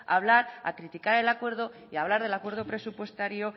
a hablar a criticar el acuerdo y hablar el acuerdo presupuestario